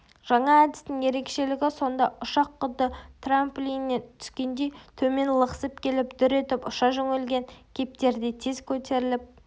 жаңа әдістің ерекшелігі сонда ұшақ құдды трамплиннен түскендей төмен лықсып келіп дүр етіп ұша жөнелген кептердей тез көтеріліп